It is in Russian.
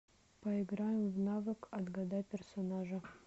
поиграем в навык отгадай персонажа